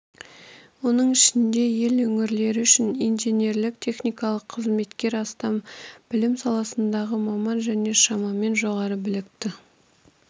оның ішінде ел өңірлері үшін инженерлік-техникалық қызметкер астам білім саласындағы маман және шамамен жоғары білікті